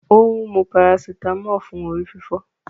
O ń mú paracetamol fún orí-fífọ́